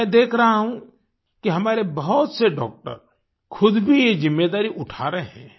मैं देख रहा हूँ कि हमारे बहुत से डॉक्टर खुद भी ये जिम्मेदारी उठा रहे हैं